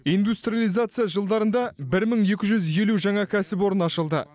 индустрализация жылдарында бір мың екі жүз елу жаңа кәсіпорын ашылды